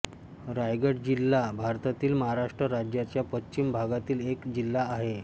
रायगड जिल्हा भारतातील महाराष्ट्र राज्याच्या पश्चिम भागातील एक जिल्हा आहे